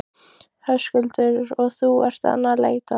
Höskuldur: Og þú ert enn að leita?